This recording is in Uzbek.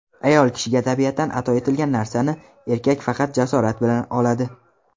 Ayol kishiga tabiatan ato etilgan narsani erkak faqat jasorat bilan oladi.